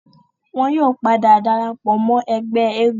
wọn yóò padà darapọ̀ mọ́ ẹgbẹ́ eégún